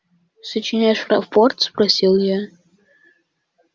сочиняешь рапорт спросил я